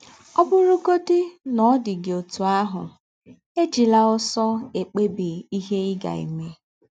Ọ bụrụgọdị na ọ dị gị ọtụ ahụ, ejila ọsọ ekpebi ihe ị ga - eme.